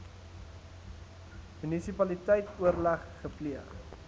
munisipaliteit oorleg gepleeg